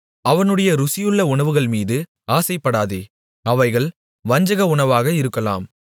அவனுடைய ருசியுள்ள உணவுகள்மீது ஆசைப்படாதே அவைகள் வஞ்சக உணவாக இருக்கலாம்